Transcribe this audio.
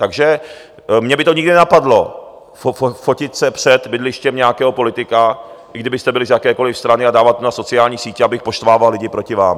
Takže mě by to nikdy nenapadlo, fotit se před bydlištěm nějakého politika, i kdybyste byli z jakékoliv strany, a dávat to na sociální sítě, abych poštvával lidi proti vám.